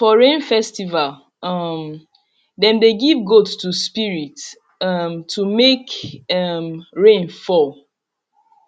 for rain festival um dem dey give goat to spirit um to make um rain fall